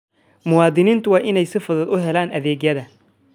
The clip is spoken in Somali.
Muwaadiniintu waa inay si fudud u helaan adeegyada.